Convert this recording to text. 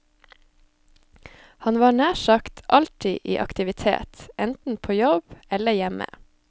Han var nær sagt alltid i aktivitet, enten på jobb eller hjemme.